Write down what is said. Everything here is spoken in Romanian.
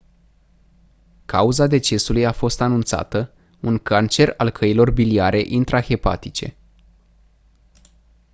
cauza decesului a fost anunțată un cancer al căilor biliare intrahepatice